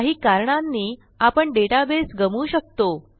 काही कारणांनी आपण डेटाबेस गमवू शकतो